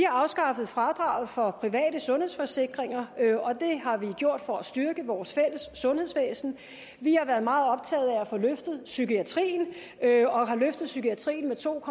afskaffet fradraget for private sundhedsforsikringer og det har vi gjort for at styrke vores fælles sundhedsvæsen vi har været meget optaget af at få løftet psykiatrien og har løftet psykiatrien med to